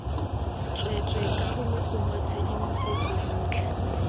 tsweetswee karolo gongwe tshedimosetso yotlhe